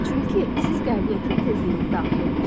Çünki siz qəbul etmə tezliyinə daxil olmusunuz.